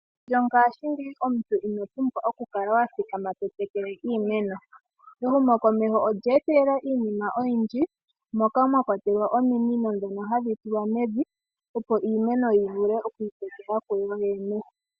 Mongaashingeyi omuntu ino pumbwa oku kala wa thikama to tekele iimeno. Ehumokomeho olye etelela iinima oyindji moka mwa kwatelwa ominino ndhoka hadhi tulwa mevi, opo iimeno yi vule okwii tekela ku yoyene.